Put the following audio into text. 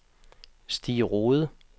Stig Rohde